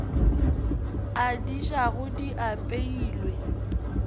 a di jago di apeilwe